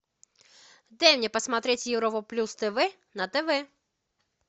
дай мне посмотреть европа плюс тв на тв